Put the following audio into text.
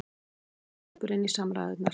Sigrún grípur inn í samræðurnar